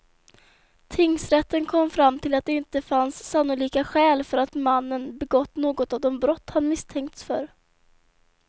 Tingsrätten kom fram till att det inte fanns sannolika skäl för att mannen begått något av de brott han misstänkts för.